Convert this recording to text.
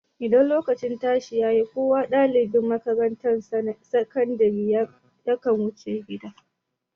Idan lokacin tashi ya yi, kowa ne ɗalibin makatarantar sakandire ya kan wuce gida.